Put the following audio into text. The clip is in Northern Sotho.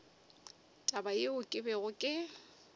taba yeo ke bego ke